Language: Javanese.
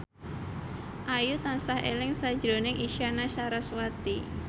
Ayu tansah eling sakjroning Isyana Sarasvati